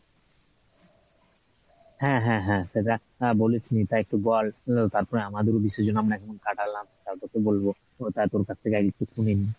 হ্যাঁ হ্যাঁ হ্যাঁ সেটা আহ বলিস নাই তাই একটু বল আহ তারপর আমাদেরও বিসর্জন আমরা কেমন কাটালাম বলবো তা তোর কাছ থেকে আগে একটু শুনে নি।